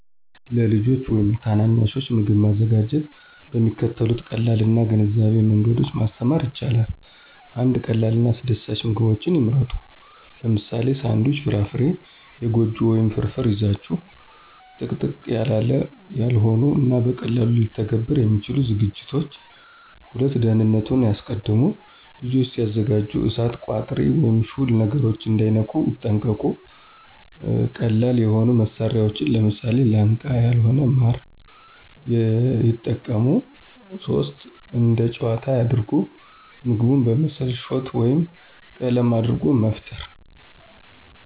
ለልጆች ወይም ታናናሾች ምግብ ማዘጋጀትን በሚከተሉት ቀላል እና ግንዛቤያም መንገዶች ማስተማር ይቻላል። 1. ቀላል እና አስደሳች ምግቦችን ይምረጡ - ለምሳሌ፦ ሳንድዊች፣ ፍራፍራ፣ የጎጆ ወይም ፍርፍር ይዛችሁ። - ጥቅጥቅ ያላው ያልሆኑ እና በቀላሉ ሊተገበሩ የሚችሉ ዝግጅቶች። **2. ደህንነቱን ያስቀድሙ** - ልጆች ሲያዘጋጁ እሳት፣ ቋጥሪ ወይም ሹል ነገሮችን እንዳይነኩ ይጠንቀቁ። - ቀላል የሆኑ መሳሪያዎችን (ለምሳሌ፦ ላንቃ ያልሆነ ማር) የጠቀሙ። *3. እንደ ጨዋታ ያድርጉት** - ምግቡን በምስል፣ ሾት ወይም ቀለም አድርጎ መፍጠሩ